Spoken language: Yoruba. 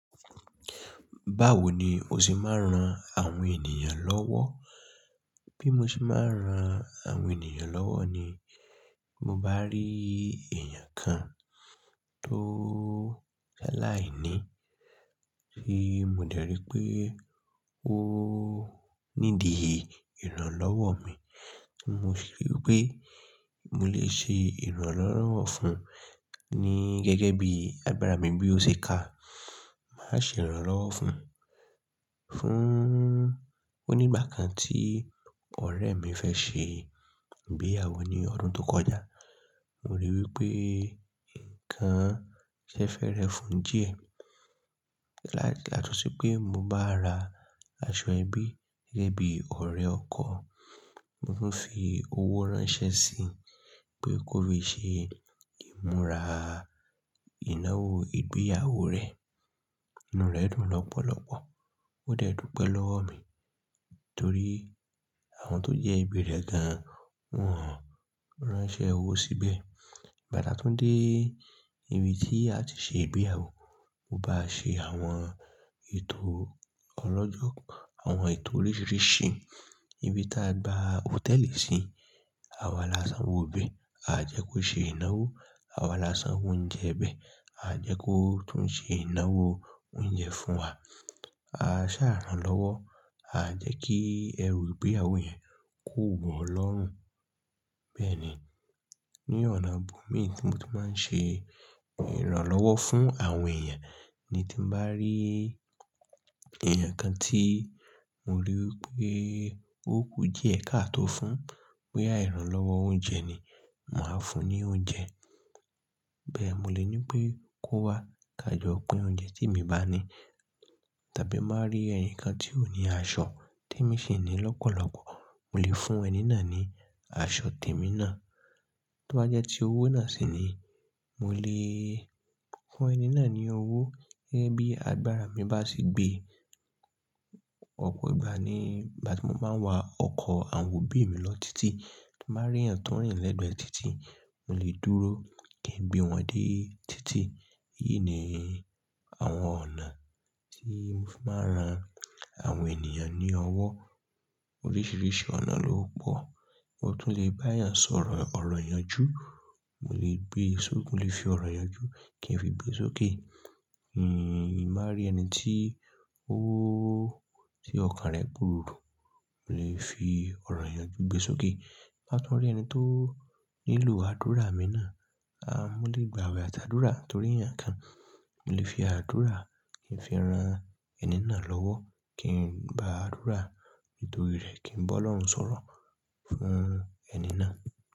Báwo ni o ṣe máa ń ran àwọn ènìyàn lọ́wọ́? Bí mo ṣe máa ń ran àwọn ènìyàn lọ́wọ́ ni, mo bá rí èèyàn kan tó sa'láìní, tí mo dẹ̀ rí pé ó nídìí ìrànlọ́wọ́ mi, mo si rií pé mo lè ṣe ìrànlọ́wọ́ fún un ní gẹ́gẹ́ bí agbára mi bí ó ṣe ka. Màá ṣe ìrànlọ́wọ́ fún un. Fún-- onígbà kan tí ọ̀rẹ́ mi fẹ́ ṣe ìgbéyàwó ní ọdún tó kọjá, mo rí i wí pé nǹkan ṣẹ́ fẹ́ rẹ fún diẹ. Yato si pé mo bá ra aṣọ ẹbí gẹ́gẹ́ bí ọ̀rẹ́ ọkọ, mo tún fi owó ránṣẹ́ sí i pé kó fi ṣe ìmúra ìnáwó ìgbéyàwó rẹ̀. Ìná rẹ̀ dùn lọ́pọ̀lọpọ̀, ó dẹ̀ dùpẹ́ lọ́wọ́ mi, torí àwọn tó jẹ́ ẹbí rẹ̀ gan-an wọn ò ránṣẹ́ owó sí bẹ̀. Igba ta tún dé ibi tí a ti ṣe ìgbéyàwó, mo bá ṣe àwọn ètò ọlọ́jọ́, àwọn ètò oríṣìíríṣìí. Ibi ta a gba hòtẹ́ẹ̀lì sí, àwa lásán owo ibẹ̀, aa jẹ́ kó ṣe ìnáwó, àwa lásán owo ounjẹ ibẹ̀, a jẹ́ kó tún ṣe ìnáwó oúnjẹ fún wa. A ṣàa rán lọ́wọ́, aa jẹ́ kí ẹrù ìgbéyàwó yẹn ko wo lọ́rùn. Bẹ́ẹ̀ni, ní ọ̀nà ibo mí tí mo ti máa ń ṣe ìrànlọ́wọ́ fún àwọn èèyàn, ni tí n bá rí èèyàn kan tí mo ríi wí pé ó kù diẹ̀ ká tó fún ún, boya ìrànlọ́wọ́ oúnjẹ ni, màá fún un ní oúnjẹ. Bẹ́ẹ̀, mo lè ní pé kó wá ká jọ pín oúnjẹ tí emi ba ni. Tàbí má rí ẹnìkan tí ò ní aṣọ tí èmi sì ní lọ́pọ̀lọpọ̀, mo lè fún ẹni náà ní aṣọ tèmi náà. Tó bá jẹ́ tí owó náà sì ni, mo lè fún ẹni náà ní owó gẹ́gẹ́ bí agbára mi bá ṣe gbé. Ọ̀pọ̀ ìgbà ni, igbá ti mo máa ń wa ọkọ̀ àwọn òbí mi lọ n títì, tí màá rí èèyàn tó ń rìn lẹ́gbẹ̀ẹ́ títì, mo lè dúró kí n gbé wọn dé títì. Èyí ni àwọn ọ̀nà tí mo fi máa ń ran àwọn ènìyàn ní ọwọ́. Oríṣìíríṣìí ọ̀nà ló pọ̀. Mo tún lè bá èèyàn sọ̀rọ̀ ọ̀rọ̀ ìyànjú, mo lè gbe sókè, mo lè fi ọ̀rọ̀ ìyànjú kí n fi gbe sókè. Tin n ba rí ẹni tí ó-- tí ọkàn rẹ̀ kuru, mo lè fi ọ̀rọ̀ ìyànjú gbe sókè. Ti n bá tún rí ẹni tó nílò àdúrà mì na, à, mo lè gbà awẹ́ ati àdúrà torí ẹ̀yàn kan, mo lè fi àdúrà kí n fi ran ẹni náà lọ́wọ́, kí n gbà á dúrà nítorí rẹ̀, kí n bá Ọlọ́run sọ̀rọ̀ fún ẹni náà.